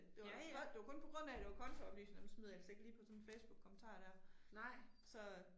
Det var godt det var kun på grund af at det var kontooplysninger, dem smider jeg altså ikke lige på sådan en Facebook-kommentar der, så